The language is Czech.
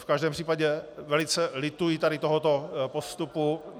V každém případě velice lituji tady tohoto postupu.